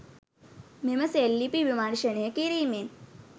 මෙම සෙල් ලිපි විමර්ශනය කිරීමෙන්